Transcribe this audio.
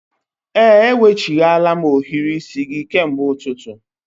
Ee, eweghachila m ohiri isi gị kemgbe ụtụtụ